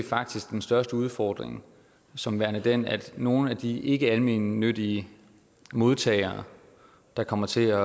faktisk den største udfordring som værende den at nogle af de ikkealmennyttige modtagere der kommer til